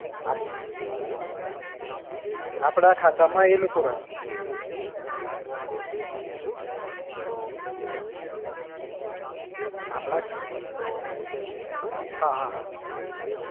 આપ આપડા ખાતા માં એ લોકો રાખે હમ આપડા હા હા